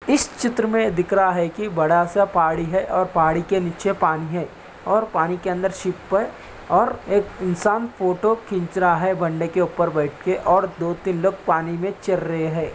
इस चित्र मे दिख रहा है की बड़ा सा पहाड़ी है और पहाड़ी के नीचे पानी है और पानी के अंदर शिप पर और एक इंसान फोटो खींच रहा है बन्दे के ऊपर बैठ के और दो तीन लोग पानी मे चर रहे हैं ।